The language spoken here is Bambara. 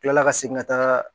Kila ka segin ka taaga